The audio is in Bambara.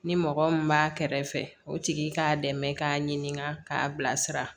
Ni mɔgɔ min b'a kɛrɛfɛ o tigi k'a dɛmɛ k'a ɲininka k'a bilasira